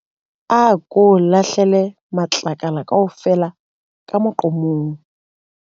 Ako lahlele matlakala kaofela ka moqomong.